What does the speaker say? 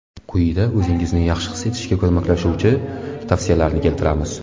Quyida o‘zingizni yaxshi his etishga ko‘maklashuvchi tavsiyalarni keltiramiz.